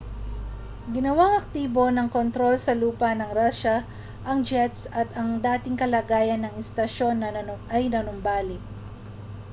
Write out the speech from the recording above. ginawang aktibo ng kontrol sa lupa sa rusya ang jets at ang dating kalagayan ng istasyon ay nanumbalik